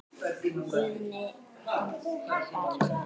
Guðni hann er bara maður.